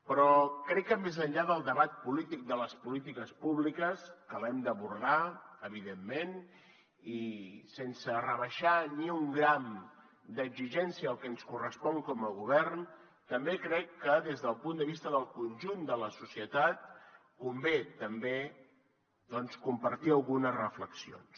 però crec que més enllà del debat polític de les polítiques públiques que l’hem d’abordar evidentment i sense rebaixar ni un gram d’exigència el que ens correspon com a govern també crec que des del punt de vista del conjunt de la societat convé també doncs compartir algunes reflexions